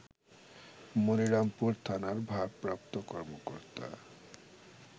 মনিরামপুর থানার ভারপ্রাপ্ত কর্মকর্তা